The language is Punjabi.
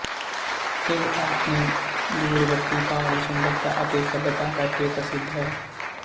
ਇਹ ਆਪਣੀ ਦੂਰਵਰਤੀ ਪਹਾੜੀ ਸੁੰਦਰਤਾ ਅਤੇ ਸੱਭਿਅਤਾ ਕਰ ਕੇ ਪ੍ਰਸਿੱਧ ਹੈ